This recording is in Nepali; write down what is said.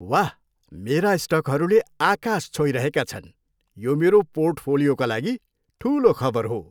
वाह, मेरा स्टकहरूले आकाश छोइरहेका छन्! यो मेरो पोर्टफोलियोका लागि ठुलो खबर हो।